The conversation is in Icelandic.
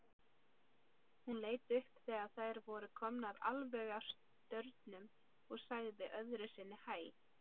Hún leit upp þegar þær voru komnar alveg að staurnum og sagði öðru sinni hæ.